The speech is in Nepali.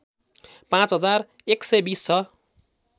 पाँच हजार १२० छ